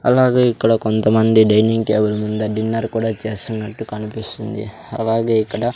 అలాగే ఇక్కడ కొంతమంది డైనింగ్ టేబుల్ మింద డిన్నర్ కూడా చేస్తున్నట్టు కనిపిస్తుంది అలాగే ఇక్కడ--